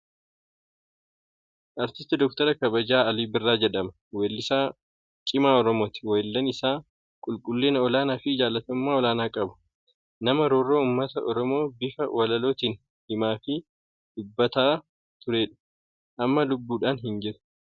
Artistii Doktara kabajaa Alii Birraa jedhama. Wellisaa cimaa Oromooti. Walleen isaa qulqullina olaanaa fi jalatamummaa olaanaa qaba. Nama roorroo ummata Oromoo bifa walalootiin himaa fi dubbataafii turelledha. Amma lubbuudhaan hin jiru.